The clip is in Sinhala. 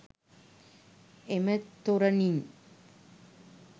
එම තොරණින්